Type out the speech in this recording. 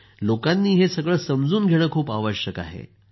लोकांनी हे समजून घेणं खूप आवश्यक आहे